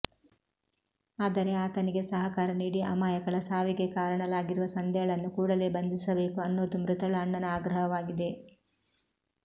ಆದರೆ ಆತನಿಗೆ ಸಹಕಾರ ನೀಡಿ ಅಮಾಯಕಳ ಸಾವಿಗೆ ಕಾರಣಲಾಗಿರುವ ಸಂಧ್ಯಾಳನ್ನು ಕೂಡಲೇ ಬಂಧಿಸಬೇಕು ಅನ್ನೋದು ಮೃತಳ ಅಣ್ಣನ ಆಗ್ರಹವಾಗಿದೆ